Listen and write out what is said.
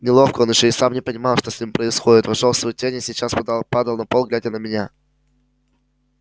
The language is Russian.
неловко он ещё и сам не понимал что с ним происходит вошёл в свою тень и сейчас падал на пол глядя на меня